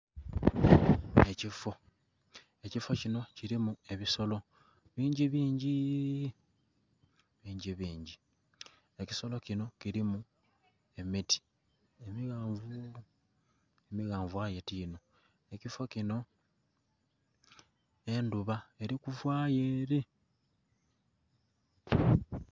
Ekifo ekifo kinho kilimu ebisolo bingi bingi, bingi bingi. Ekifo kinho kilimu emiti emighanvu , amighanvu aye ti inho. Ekifo kinho endhuba eri kuvayo ere.